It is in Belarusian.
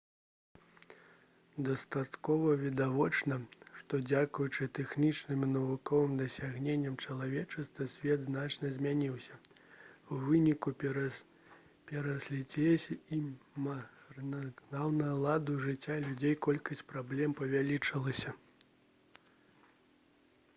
дастаткова відавочна што дзякуючы тэхнічным і навуковым дасягненням чалавецтва свет значна змяніўся у выніку перанаселенасці і марнатраўнага ладу жыцця людзей колькасць праблем павялічылася